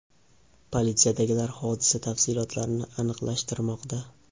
Politsiyadagilar hodisa tafsilotlarini aniqlashtirmoqda.